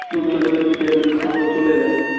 দুর্যোধনের দিকে এখন যদি কোন কেউ চলে যায়